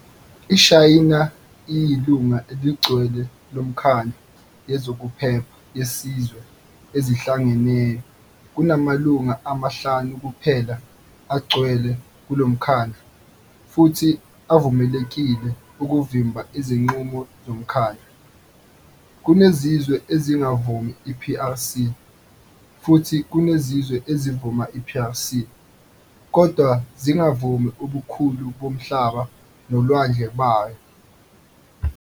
iShayina iyilunga eligcwele loMkhandlu yezokuPhepha yeziZwe eziHlangeneyo - kunamalunga amahlanu kuphela agcwele kulomkhandlu futhi avumelekile ukuvimba izingqumo zomkhandlu. Kunezizwe ezingavumi i-PRC futhi kunezizwe ezivuma i-PRC kodwa zingavumi ubukhulu bomhlaba nolwandle bayo.